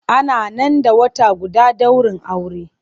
Ana nan da wata guda daurin aure.